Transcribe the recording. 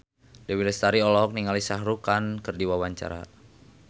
Dewi Lestari olohok ningali Shah Rukh Khan keur diwawancara